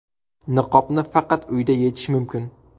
Niqobni faqat uyda yechish mumkin.